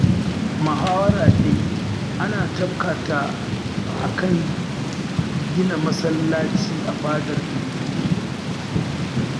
Muhawara dai an tafka ta a kan gina masallaci a fadar mai gari